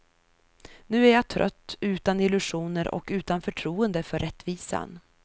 Nu är jag trött, utan illusioner och utan förtroende för rättvisan.